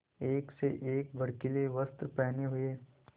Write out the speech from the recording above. एक से एक भड़कीले वस्त्र पहने हुए